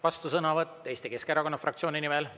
Vastusõnavõtt Eesti Keskerakonna fraktsiooni nimel.